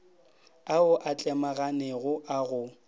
ao a tlemaganego a go